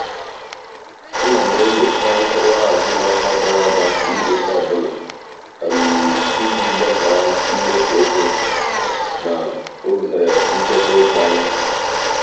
ana m enyocha nkọwa azụmahịa gara aga kwa izuụka ọbụla iji lebara mmefu ego na ohere nchekwa ego anya.